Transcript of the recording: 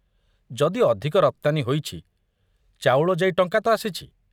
ଯଦି ଅଧିକ ରପ୍ତାନୀ ହୋଇଛି, ଚାଉଳ ଯାଇ ଟଙ୍କା ତ ଆସିଛି।